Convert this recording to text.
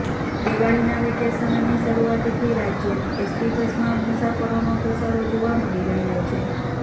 દિવાળીના વેકેશનની શરૂઆતથી રાજ્યની એસટી બસમાં મુસાફરોનો ધસારો જોવા મળી રહ્યો છે